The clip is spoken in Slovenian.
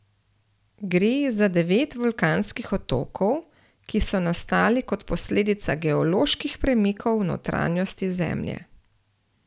Gre za devet vulkanskih otokov, ki so nastali kot posledica geoloških premikov v notranjosti Zemlje.